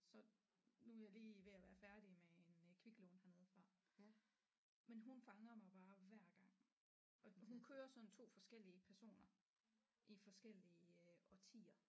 Så nu er jeg lige ved at være færdig med en øh kviklån hernede fra men hun fanger mig bare hver gang og hun kører sådan 2 forskellige personer i forskellige årtier